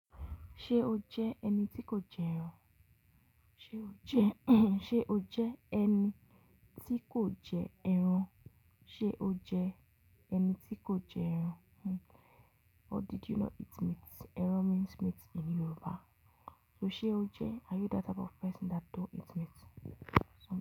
Ṣé o jẹ́ ẹni tí kò jẹ ẹran? Ṣé o jẹ́ ẹni tí kò jẹ ẹran? Ṣé o jẹ́ ẹni tí kò jẹ ẹran? Hmm. Or did you not eat meat? Ẹran means meat in Yoruba. So ṣe o jẹ́? Are you that type of person that don't eat meat?